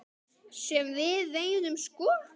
Sem við veiðum sko?